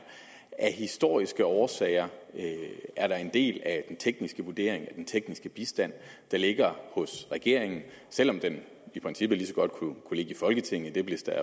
af historiske årsager er der en del af den tekniske vurdering og den tekniske bistand der ligger hos regeringen selv om den i princippet lige så godt kunne ligge i folketinget det blev der